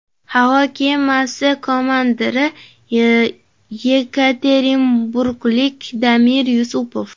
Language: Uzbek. Havo kemasi komandiri yekaterinburglik Damir Yusupov.